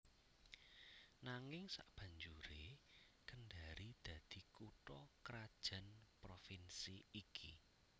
Nanging sabanjuré Kendari dadi kutha krajan Provinsi iki